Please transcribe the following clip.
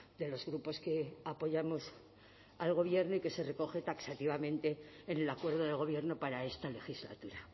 de los grupos que apoyamos al gobierno y que se recoge taxativamente en el acuerdo de gobierno para esta legislatura